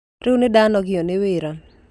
Rĩu nĩ ndanogio nĩ wĩra.